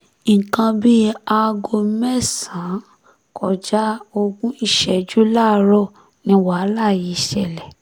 nǹkan bíi aago mẹ́sàn-án kọjá ogún ìṣẹ́jú láàárọ̀ ni wàhálà yìí ṣẹlẹ̀